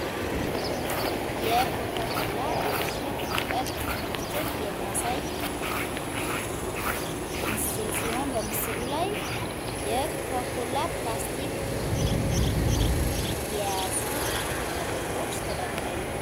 የኮካ ኮላ የእሽግ መጠጥ martin የሚያሳይ ምስል ሲሆን በምስሉ ላይ የኮካ ኳላ ፕላስቲክ የያዙ መጠጦች ተደርድረው ይታያሉ።